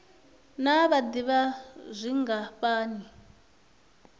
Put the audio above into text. naa vha d ivha zwingafhani